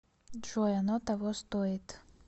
джой оно того стоит